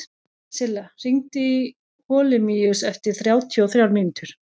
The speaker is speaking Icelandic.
Silla, hringdu í Holemíus eftir þrjátíu og þrjár mínútur.